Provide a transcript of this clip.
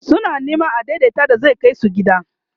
suna Neman adaidaita da zai Kai su gida